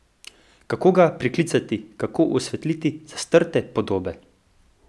Kako ga priklicati, kako osvetliti zastrte podobe?